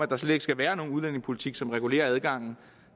der slet ikke skal være nogen udlændingepolitik som regulerer adgangen